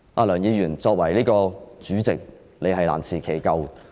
梁議員，作為主席，你是難辭其咎。